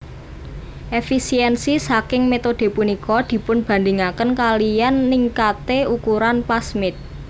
Efisiensi ssaking metode punika dipunbandingaken kaliyan ningkate ukuran plasmid